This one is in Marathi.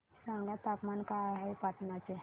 सांगा तापमान काय आहे पाटणा चे